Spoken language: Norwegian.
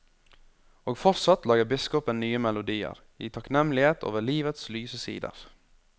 Og fortsatt lager biskopen nye melodier, i takknemlighet over livets lyse sider.